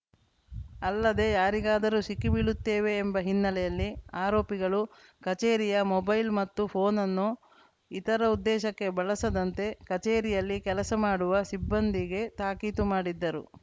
ಅಲ್ಲದೆ ಯಾರಿಗಾದರೂ ಸಿಕ್ಕಿ ಬೀಳುತ್ತೇವೆ ಎಂಬ ಹಿನ್ನೆಲೆಯಲ್ಲಿ ಆರೋಪಿಗಳು ಕಚೇರಿಯ ಮೊಬೈಲ್‌ ಮತ್ತು ಫೋನ್‌ನನ್ನು ಇತರ ಉದ್ದೇಶಕ್ಕೆ ಬಳಸದಂತೆ ಕಚೇರಿಯಲ್ಲಿ ಕೆಲಸ ಮಾಡುವ ಸಿಬ್ಬಂದಿಗೆ ತಾಕೀತು ಮಾಡಿದ್ದರು